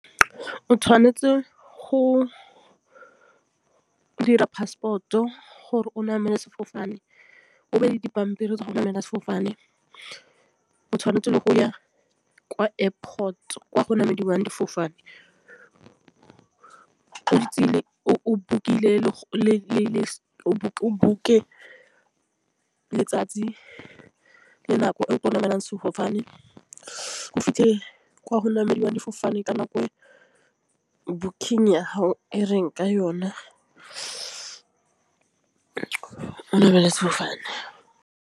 O tšhwanetse go dira passport-o gore o namele sefofane o be le dipampiri tsa go namela sefofane. O tšhwanetse go ya kwa airport kwa go tšhamekiwang difofane o mo ditseleng o bolokile le o bokae letsatsi le nako e o ka namela sefofane o fitlhele gomodiwa difofane ka nako banking ya ha e reng ka yona namele sefofane.